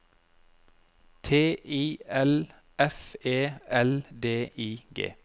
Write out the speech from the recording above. T I L F E L D I G